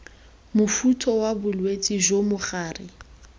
mofuta wa bolwetse jo mogare